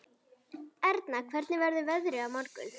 Erna, hvernig verður veðrið á morgun?